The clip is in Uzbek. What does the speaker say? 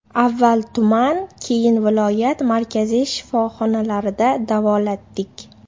Avval tuman keyin viloyat markaziy shifoxonalarida davolatdik.